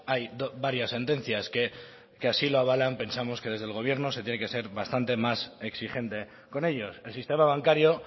hay varias sentencias que así lo avalan pensamos que desde el gobierno se tiene que ser bastante más exigente con ellos el sistema bancario